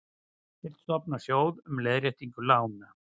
Vill stofna sjóð um leiðréttingu lána